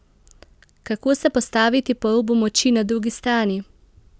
Kako se postaviti po robu moči na drugi strani?